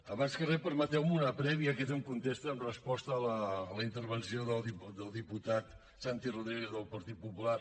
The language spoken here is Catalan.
abans de res permeteu me una prèvia que és en contesta en resposta a la intervenció del diputat santi rodríguez del partit popular